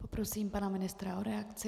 Poprosím pana ministra o reakci.